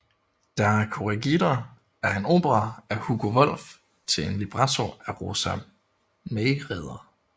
Der Corregidor er en opera af Hugo Wolf til en libretto af Rosa Mayreder